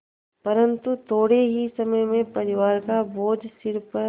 परन्तु थोडे़ ही समय में परिवार का बोझ सिर पर